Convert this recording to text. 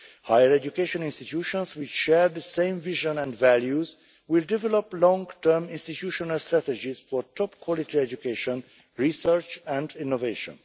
Higher education institutions which share the same vision and values will develop long term institutional strategies for top quality education, research and innovation.